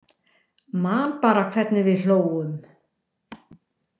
Man bara hvernig við hlógum.